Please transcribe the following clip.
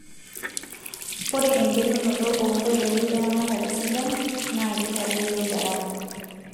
Ore engelunoto oonkoitoi eramatare sidai naakeitadoyio garama.